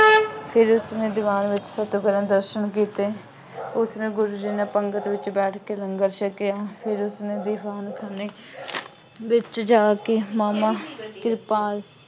ਫਿਰ ਉਸਨੇ ਦੀਵਾਨ ਦਰਸ਼ਨ ਕੀਤੇ। ਉਸਨੇ ਗੁਰੂ ਜੀ ਨਾਲ ਪੰਗਤ ਵਿੱਚ ਬੈਠ ਕੇ ਲੰਗਰ ਛਕਿਆ। ਫਿਰ ਉਸਨੈ ਦੀਵਾਨਖਾਨੇ ਵਿੱਚ ਜਾ ਕੇ ਮਾਮਾ ਕਿਰਪਾਲ